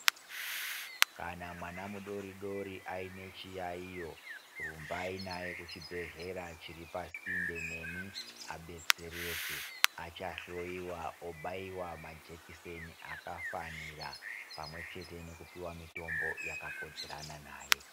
Kana mwana mudori dori aine chiyaiyo rumbayi naye kuchibhedhlera chiri pari pasinde nemi abetsereke achahloyiwa aboiwa majekiseni akafanira pamwe chete nekupuwa mitombo yakakodzerana naye.